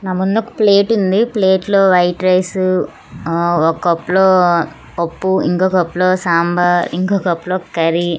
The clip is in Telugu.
నా ముందొక ప్లేట్ ఉంది. ప్లేట్ లో వైట్ రైసు ఆ ఓక్ కప్ లో పప్పు ఇంకొ కప్ లో సాంబార్ ఇంకొ కప్ లో కర్రీ --